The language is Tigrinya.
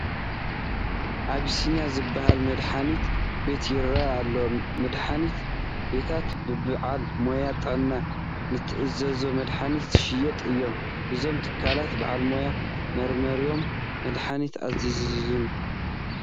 ኣቢሲንያ ዝበሃል መድሓኒት ቤት ይርአ ኣሎ፡፡ መድሓኒት ቤታት ብበዓል ሞያ ጥዕና ንዝተኣዘዘ መድሓኒት ዝሸጡ እዮም፡፡ እዞም ትካላት ባዕሎም መርሚሮም መድሓኒት ኣይእዝዙን፡፡